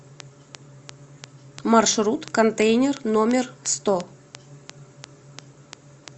маршрут контейнер номер сто